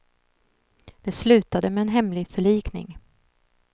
Det slutade med en hemlig förlikning.